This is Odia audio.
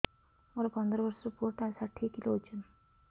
ମୋର ପନ୍ଦର ଵର୍ଷର ପୁଅ ଟା ଷାଠିଏ କିଲୋ ଅଜନ